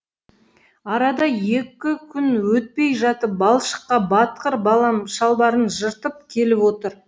арада екі күн өтпей жатып балшыққа батқыр балам шалбарын жыртып келіп отыр